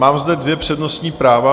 Mám zde dvě přednostní práva.